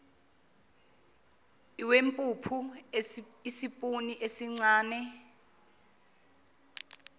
lwempuphu isipuni esincane